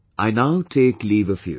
I now take leave of you